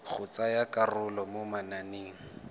go tsaya karolo mo mananeng